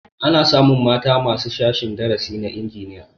Ana samun mata ma a sashen darasin injiniya